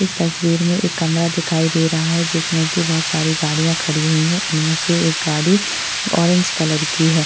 इस तस्वीर में एक कमरा दिखाई दे रहा है जिसमे की बहुत सारी गाड़िया खड़ी हुई है इनमे से एक गाड़ी ऑरेंज कलर की है।